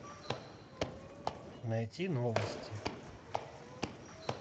найти новости